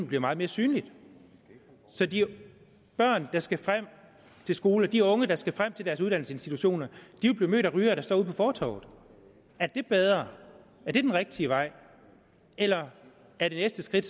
blive meget mere synligt så de børn der skal frem til skolen og de unge der skal frem til deres uddannelsesinstitutioner vil blive mødt af rygere der står ude på fortovet er det bedre er det den rigtige vej eller er det næste skridt